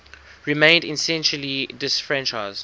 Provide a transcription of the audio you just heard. remained essentially disfranchised